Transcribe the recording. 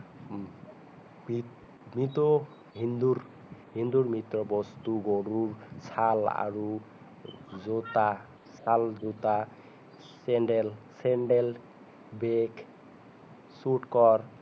হিন্দুৰ মৃত হিন্দুৰ মৃত বস্তু গৰুৰ ছাল আৰু জোতা ছাল জোতা চেন্দেল চেন্দেল বেগ চুতকেচ